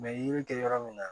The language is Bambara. yiri tɛ yɔrɔ min na